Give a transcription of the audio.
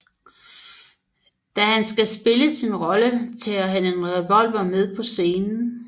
Da han skal spille sin rolle tager han en revolver med på scenen